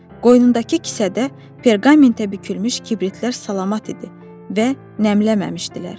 Qoynundakı kisədə perqamentə bükülmüş kibritlər salamat idi və nəmlənməmişdilər.